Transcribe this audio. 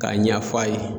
K'a ɲɛ f'a ye